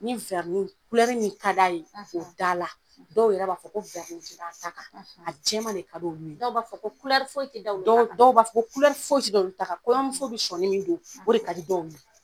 Ni , min ka d'a ye, , k'o da la. Dɔw yɛrɛ b'a fɔ ko tɛ da a ta kan. , A jɛman de ka d'olu ye. Dɔw b'a fɔ ko foyi tɛ da olu ta kan. Dɔw, dɔw b'a fɔ foyi si tɛ da olu ta kan, , kɔɲɔmusow bɛ sɔni min don, o de ka di dɔw ye.